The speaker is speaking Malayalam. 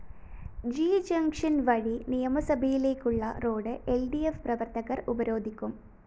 ജി ജംഗ്ഷന്‍ വഴി നിയമസഭയിലേക്കുള്ള റോഡ്‌ ൽ ഡി ഫ്‌ പ്രവര്‍ത്തകര്‍ ഉപരോധിക്കും